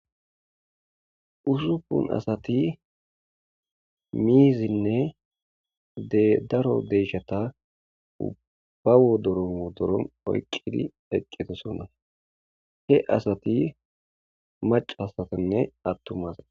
usuppun asati miizinne de daro deeshata ubbawo doromo doron oyqqidi eqqeto sona he asati mac hasatanne attumas